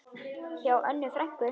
Hjá Önnu frænku.